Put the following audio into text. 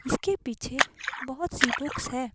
इसके पीछे बहुत सी बुक्स है।